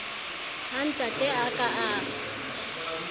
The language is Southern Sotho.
ha ntate a ka a